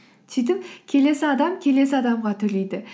сөйтіп келесі адам келесі адамға төлейді